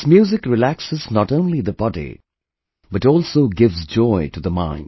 This music relaxes not only the body, but also gives joy to the mind